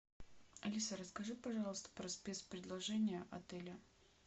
алиса расскажи пожалуйста про спецпредложения отеля